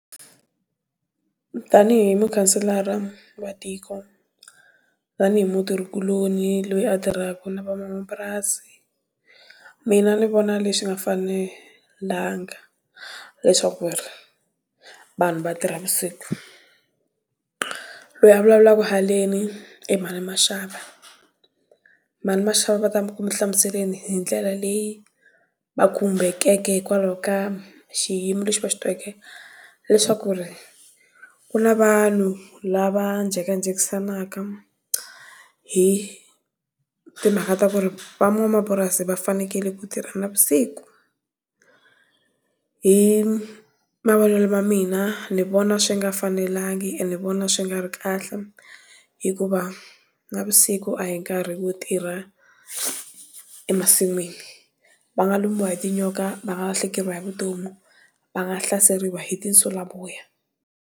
Tanihi mukhanselara wa tiko, tanihi mutirhi kuloni loyi a tirhaka na van'wamapurasi. Mina ni vona leswi nga fanelanga leswaku ri, vanhu va tirha vusiku. Loyi a vulavulaka haleni i Mhani Mashava. Mhani Mashava va ta ku mi hlamuseleni hi ndlela leyi, va khumbekeke hikwalaho ka xiyimo lexi va xi tweke, leswaku ri, ku na vanhu lava jekajekisanaka, hi timhaka ta ku ri, van'wamapurasi va fanekele ku tirha navusiku. Hi mavonelo ya mina, ni vona swi nga fanelangi ene ni vona swi nga ri kahle, hikuva, navusiku a hi nkarhi wo tirha, emasin'wini. Va nga lumiwa hi tinyoka, va nga lahlekeriwa hi vutomi, va nga hlaseriwa hi tinsulavoya.